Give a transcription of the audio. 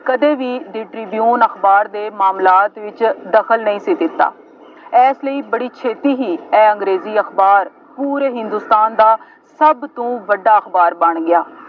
ਕਦੇ ਵੀ The Tribune ਅਖਬਾਰ ਦੇ ਮਾਮਲਾਤ ਵਿੱਚ ਦਖਲ ਨਹੀਂ ਸੀ ਦਿੱਤਾ। ਇਸ ਲਈ ਬੜੀ ਛੇਤੀ ਹੀ ਇਹ ਅੰਗਰੇਜ਼ੀ ਅਖਬਾਰ ਪੂਰੇ ਹਿੰਦੁਸਤਾਨ ਦਾ ਸਭ ਤੋਂ ਵੱਡਾ ਅਖਬਾਰ ਬਣ ਗਿਆ।